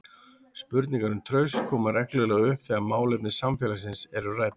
Spurningar um traust koma reglulega upp þegar málefni samfélagsins eru rædd.